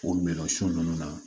O minɛn sugu ninnu na